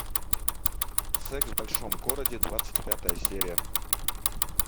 секс в большом городе двадцать пятая серия